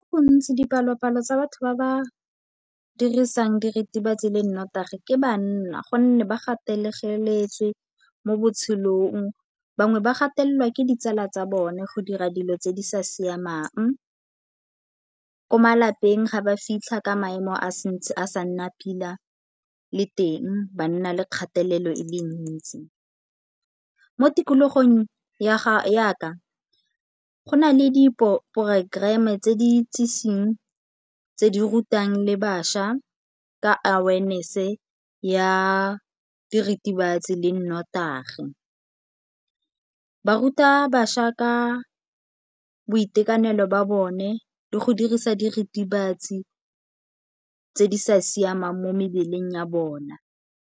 Gontsi dipalopalo tsa batho ba ba dirisang diritibatsi le nnotagi ke banna gonne ba gategeletswe mo botshelong. Bangwe ba gatelela ke ditsala tsa bone go dira dilo tse di sa siamang, ko malapeng ga ba fitlha ka maemo a santse a sa nna pila le teng ba nna le kgatelelo e le ntsi. Mo tikologong yaka go na le diporokoreme tse di itseseng, tse di rutang le bašwa ka awareness ya diritibatsi le nnotagi. Ba ruta bašwa ka boitekanelo ba bone di go dirisa diritibatsi tse di sa siamang mo mebeleng ya bona.